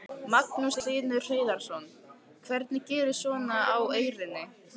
Magnús Hlynur Hreiðarsson: Hvernig gerist svona á Eyrinni?